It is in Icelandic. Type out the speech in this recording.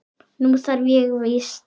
Nú þarf ég víst.